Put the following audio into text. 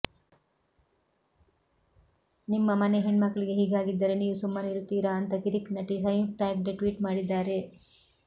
ನಿಮ್ಮ ಮನೆ ಹಣ್ಮಕ್ಕಳಿಗೆ ಹೀಗಾಗಿದ್ದರೆ ನೀವು ಸುಮ್ಮನಿರುತ್ತೀರಾ ಅಂತ ಕಿರಿಕ್ ನಟಿ ಸಂಯುಕ್ತಾ ಹೆಗ್ಡೆ ಟ್ವೀಟ್ ಮಾಡಿದಾರೆ